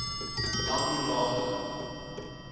langlaagte